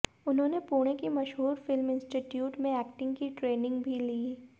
उन्होंने पुणे की मशहूर फिल्म इंस्टीट्यूट में एक्टिंग की ट्रेनिंग भी ली